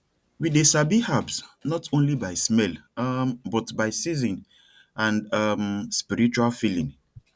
we dey sabi herbs not only by smell um but by season and um spiritual feeling